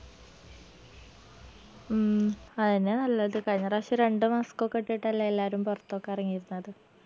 ഉം അഎന്നെയാ നല്ലത് കയ്‌നറാശം രണ്ട് mask കൊക്കെ ഇട്ടിട്ടല്ലേ എല്ലാരും പൊർത്തൊക്കെ എറങ്ങിയിരുന്നത്